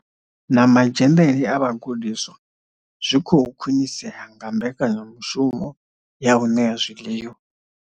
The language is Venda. Na madzhenele a vhagudiswa zwi khou khwinisea nga mbekanyamushumo ya u ṋea zwiḽiwa.